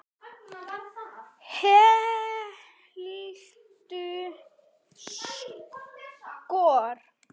Helstu skor